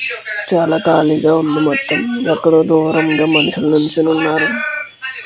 చాలా కాలిగా ఉంది మొత్తం ఎక్కడో దూరంగా మనుషులు నిల్చొని ఉన్నారు.